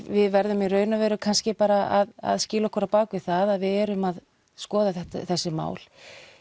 við verðum í raun og veru kannski bara að skýla okkur á bakvið það að við erum að skoða þessi mál